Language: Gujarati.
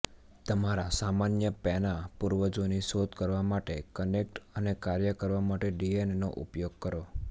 તમારા સામાન્ય પેના પૂર્વજોની શોધ કરવા માટે કનેક્ટ અને કાર્ય કરવા માટે ડીએનએનો ઉપયોગ કરો